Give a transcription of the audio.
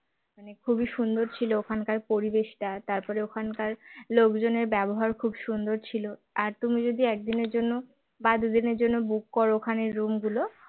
খুবই সুন্দর ছিল ওখানকার পরিবেশটা তার পরে ওখানকার লোকজনের ব্যবহার খুব সুন্দর ছিল আর তুমি যদি একদিনের জন্য বা দু দিনের জন্য book করো ওখানের room গুলো